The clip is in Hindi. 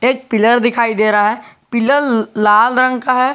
एक पिलर दिखाई दे रहा है पिलर लाल रंग का है।